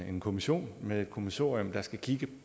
en kommission med et kommissorium der skal kigge